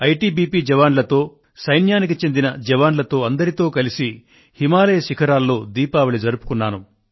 ITBP జవాన్లతో సైన్యానికి చెందిన జవాన్లతో కలిసి హిమాలయ శిఖరాల్లో దీపావళి జరుపుకొన్నాను